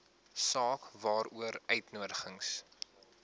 saak waaroor uitnodigings